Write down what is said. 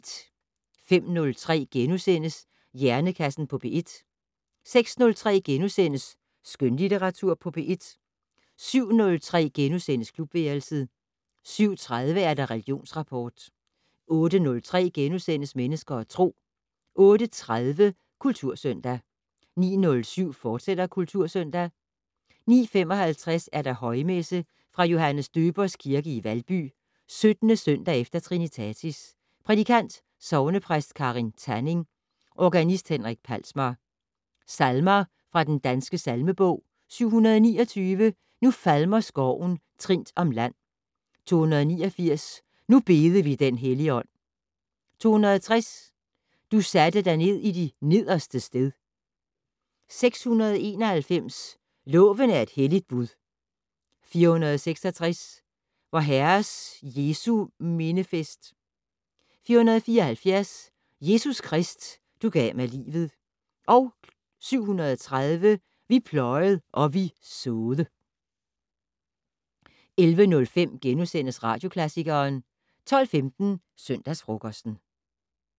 05:03: Hjernekassen på P1 * 06:03: Skønlitteratur på P1 * 07:03: Klubværelset * 07:30: Religionsrapport * 08:03: Mennesker og Tro * 08:30: Kultursøndag 09:07: Kultursøndag, fortsat 09:55: Højmesse - Fra Johannes Døbers Kirke, Valby. 17. søndag efter trinitatis. Prædikant: Sognepræst Karin Thanning. Organist: Henrik Palsmar. Salmer fra den Danske salmebog: 729: "Nu falmer skoven trindt om land". 289: "Nu bede vi den Helligånd". 260: "Du satte dig ned i de nederstes sted". 691: "Loven er et helligt bud". 466: "Vor Herres Jesu mindefest". 474: "Jesus Krist, du gav mig livet". 730: "Vi pløjed og vi så'de". 11:05: Radioklassikeren * 12:15: Søndagsfrokosten